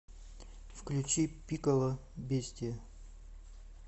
включи пикколо бестиа